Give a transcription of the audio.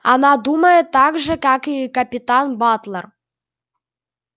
она думает так же как и капитан батлер